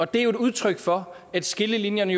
det er jo et udtryk for at skillelinjerne